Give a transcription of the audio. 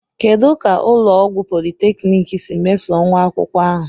Kedu ka ụlọ ọgwụ polytechniki si meso nwa akwụkwọ ahụ?